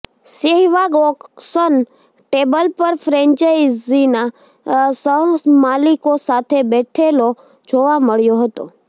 Sehwag auction table પર ફ્રેન્ચાઈઝીના સહમાલિકો સાથે બેઠેલો જોવા મળ્યો હતો